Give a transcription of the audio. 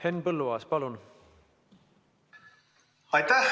Henn Põlluaas, palun!